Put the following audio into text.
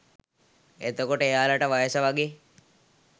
එතකොට එයාලට වයස වගේ